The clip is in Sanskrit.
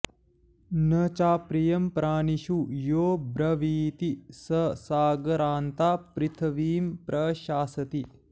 नचाप्रियं प्राणिषु यो ब्रवीति स सागरान्तां पृथिवीं प्रशास्ति